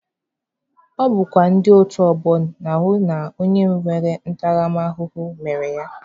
Ọ bụkwa ndị otu ọgbọ na-ahụ na onye enyere ntaramahụhụ mere ya.